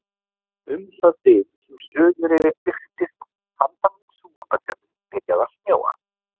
Um það bil sem Suðureyri birtist handan við Súgandafjörðinn byrjaði að snjóa.